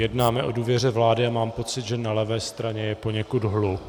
Jednáme o důvěře vlády a mám pocit, že na levé straně je poněkud hluk.